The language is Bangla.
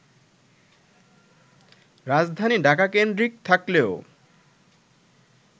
রাজধানী ঢাকা-কেন্দ্রিক থাকলেও